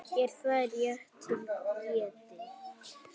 Er það rétt til getið?